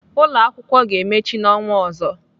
Ụlọakwụkwọ ga-emechi n'ọnwa ọzọ.